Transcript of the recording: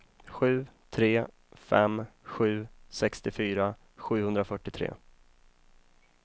sju tre fem sju sextiofyra sjuhundrafyrtiotre